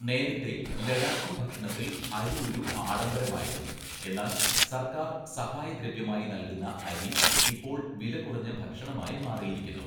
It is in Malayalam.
നേരത്തെ ലഡാക്കി ഭക്ഷണത്തിൽ അരി ഒരു ആഡംബരമായിരുന്നു, എന്നാൽ, സർക്കാർ സഹായദ്രവ്യമായി നൽകുന്ന അരി ഇപ്പോൾ വിലകുറഞ്ഞ ഭക്ഷണമായി മാറിയിരിക്കുന്നു.